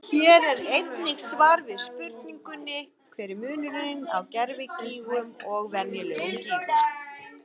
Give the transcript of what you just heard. Hér er einnig svar við spurningunni: Hver er munurinn á gervigígum og venjulegum gígum?